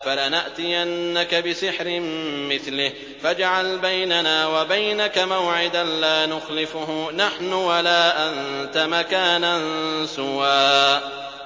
فَلَنَأْتِيَنَّكَ بِسِحْرٍ مِّثْلِهِ فَاجْعَلْ بَيْنَنَا وَبَيْنَكَ مَوْعِدًا لَّا نُخْلِفُهُ نَحْنُ وَلَا أَنتَ مَكَانًا سُوًى